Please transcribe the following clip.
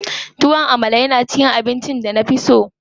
Tuwon Amala na cikin abincin da na fi son ci.